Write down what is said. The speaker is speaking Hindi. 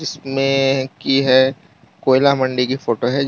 इसमें की है कोयला मंडी की फोटो है।